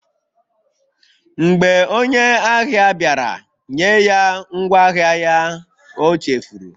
Mgbe onye ahịa bịara, nye ya ngwaahịa ya ọ chefuru